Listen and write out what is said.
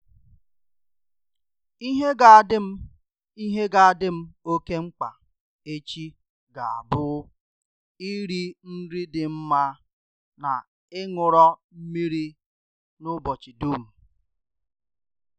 Ihe ga adim Ihe ga adim oke mkpa echi ga abụ iri nri dị mma na ịńụrọ mmiri n'ụbọchị dum.